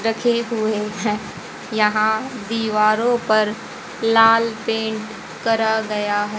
रखे हुए है यहां दिवारों पर लाल पेंट करा गया है।